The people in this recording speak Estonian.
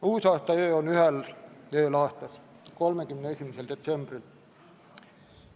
Uusaastaöö on ühel ööl aastas – 31. detsembril.